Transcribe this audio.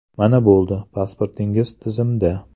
Mana bo‘ldi, pasportingiz tizimda!